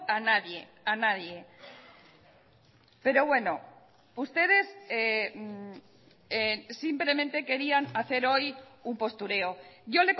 a nadie a nadie pero bueno ustedes simplemente querían hacer hoy un postureo yo